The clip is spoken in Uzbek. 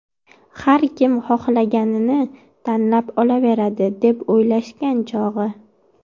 Har kim xohlaganini tanlab olaveradi, deb o‘ylashgan, chog‘i.